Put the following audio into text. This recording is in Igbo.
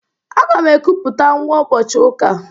Aga m ekuputa nwa ụbọchị ụka.